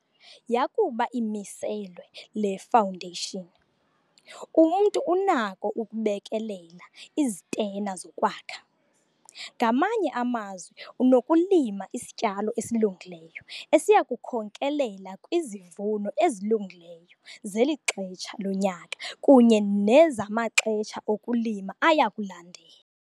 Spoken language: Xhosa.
Yakuba imiselwe le fawundeshini, umntu unakho ukubekelela izitena zokwakha, ngamanye amazwi unokulima isityalo esilungileyo esiya kukhokelela kwizivuno ezilungileyo zeli xesha lonyaka kunye nezamaxesha okulima aya kulandela.